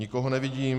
Nikoho nevidím.